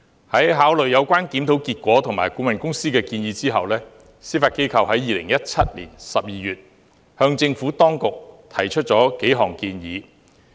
在考慮有關檢討結果及顧問公司的建議後，司法機構在2017年12月向政府當局提出了數項建議。